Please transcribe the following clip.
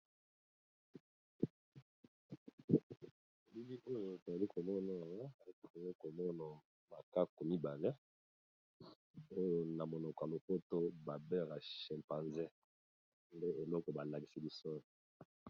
Elongi oyo etali komona etee komona makako mibale oyo na monoko ya lokoto babela chimpanze nde eloko balakisi.